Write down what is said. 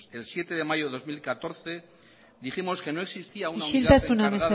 el siete de mayo de dos mil catorce dijimos que no existía isiltasuna